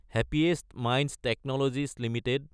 happiest Minds Technologies Ltd